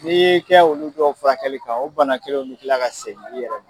N'i y'i kɛ olu dɔw furakɛli kan o bana kelen o bɛ kila ka segin i yɛrɛ ma.